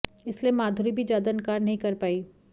इसलिए माधुरी भी ज्यादा इनकार नहीं कर पायी